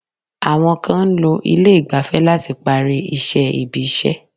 Àwọn kan ń lo ilé ìgbafẹ́ láti parí iṣẹ́ ibi-iṣẹ́.